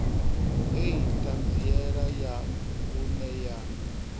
hei ṱhanziela ya vhuṅe ya